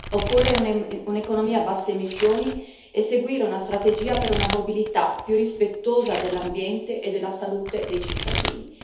Occorre un'economia a basse emissioni e seguire una strategia per una mobilità più rispettosa dell'ambiente e della salute dei cittadini.